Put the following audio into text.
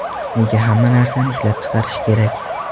Nega hamma narsani ishlab chiqarish kerak?